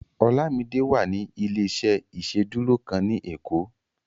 Olamide wà ní ilé-iṣẹ́ ìsedúró kan ni ekó